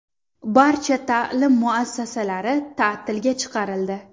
Barcha ta’lim muassasalari ta’tilga chiqarildi.